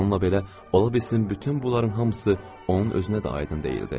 Bununla belə, ola bilsin bütün bunların hamısı onun özünə də aydın deyildi.